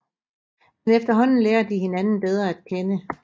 Men efterhånden lærer de hinanden bedre at kende